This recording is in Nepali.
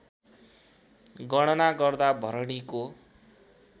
गणना गर्दा भरणीको